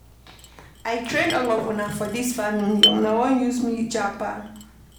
I train all of una for dis family, una wan leave me japa.